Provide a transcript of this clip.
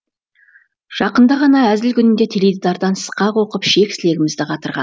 жақында ғана әзіл күнінде теледидардан сықақ оқып шек сілегімізді қатырған